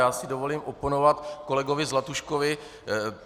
Já si dovolím oponovat kolegovi Zlatuškovi.